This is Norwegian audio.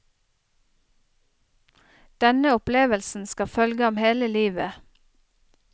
Denne opplevelsen skal følge ham hele livet.